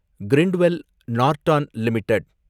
Grindwell Norton limited